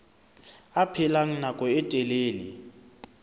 a phela nako e telele